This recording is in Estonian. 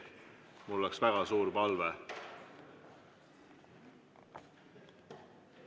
Mul oleks väga suur palve.